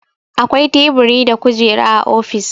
Akwai Teburi da Kujera a ofis.